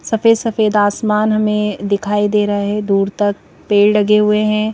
सफेद सफेद आसमान हमें दिखाई दे रहा है दूर तक पेड़ लगे हुए हैं।